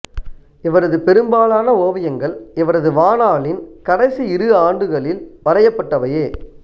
இவரது பெரும்பாலான ஓவியங்கள் இவரது வாணாளின் கடைசி இரு ஆண்டுகளில் வரையப்பட்டவையே